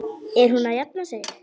Er hún að jafna sig?